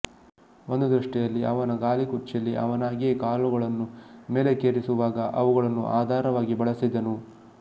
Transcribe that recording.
ಒಂದು ದೃಷ್ಟಿಯಲ್ಲಿ ಅವನ ಗಾಲಿ ಕುರ್ಚಿಯಲ್ಲಿ ಅವನಾಗಿಯೇ ಕಾಲುಗಳನ್ನು ಮೇಲಕ್ಕೇರಿಸುವಾಗ ಅವುಗಳನ್ನು ಆಧಾರವಾಗಿ ಬಳಸಿದನು